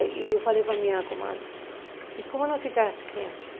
E eu falei para a minha comadre, e como vão ficar as crianças?